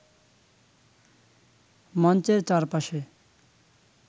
মঞ্চের চারপাশে